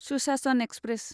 सुशासन एक्सप्रेस